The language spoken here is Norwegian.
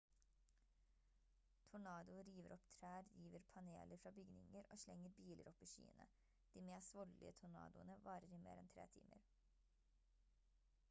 tornadoer river opp trær river paneler fra bygninger og slenger biler opp i skyene de mest voldelige tornadoene varer i mer enn tre timer